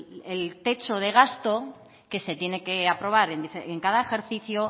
el techo de gasto que se tiene que aprobar en cada ejercicio